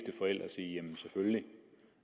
jamen selvfølgelig